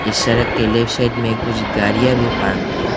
इस सड़क के लेफ्ट साइड में कुछ गाड़ियां भी पार्क्ड है।